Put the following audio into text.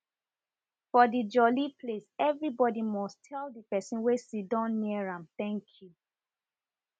for de jolly place every body must tell ]?] person wey sidon near am ten k you